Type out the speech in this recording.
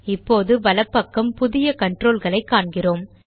இப்போது வலப் பக்கம் புதிய கன்ட்ரோல் களை காண்கிறோம்